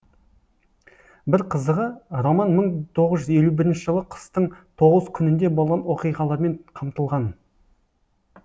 бір қызығы роман мың тоғыз жүз елу бірінші жылы қыстың тоғыз күнінде болған оқиғалармен қамтылған